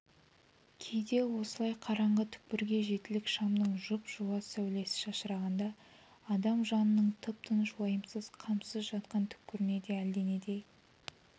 кейде осылай қараңғы түкпірге жетілік шамның жұп-жуас сәулесі шашырағанда адам жанының тып-тыныш уайымсыз қамсыз жатқан түкпіріне де әлденендей